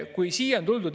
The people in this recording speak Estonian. Kolm minutit.